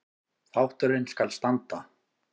Þátturinn skal standa